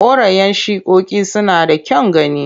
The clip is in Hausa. Korayen shikoki suna da kyan gani.